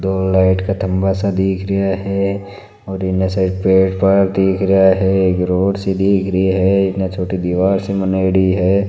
दो लाइट का खम्भा सा दिख रहा है और एने सारा पेड़ पाड दिख रहा है एक रोड सी दिख रही है इन छोटी दिवार सी बनाईडी है।